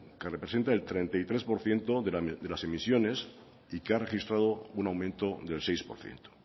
que representa el treinta y tres por ciento de las emisiones y que ha registrado una aumento del seis por ciento